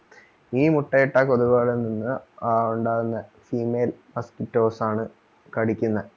ഈ മുട്ടയിട്ട കൊതുകുകളിൽ നിന്ന് ഉണ്ടാകുന്ന female mosquitoes ആണ് കടിക്കുന്നെ